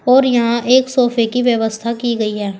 और यहां एक सोफे की व्यवस्था की गई है।